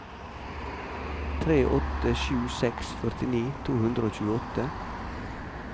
tre åtte sju seks førtini to hundre og tjueåtte